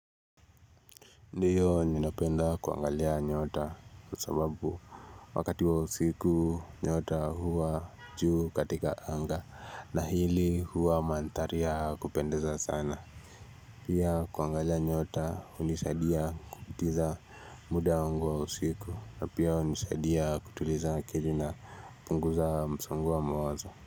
Ndiyo ninapenda kuangalia nyota kwa sababu wakati wa usiku nyota huwa juu katika anga na hili huwa mandhari ya kupendeza sana Pia kuangalia nyota hunisaidia kupitisha muda wangu wa usiku na pia hunisaidia kutuliza akili na kupunguza msongo wa mawazo.